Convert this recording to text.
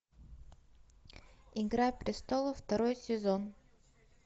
игра престолов второй сезон